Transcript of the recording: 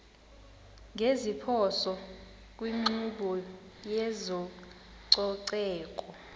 ngeziphoso kwinkqubo yezococeko